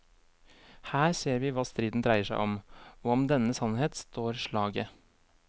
Her ser vi hva striden dreier seg om, og om denne sannhet står slaget.